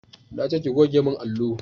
Nace ki goge mun allo!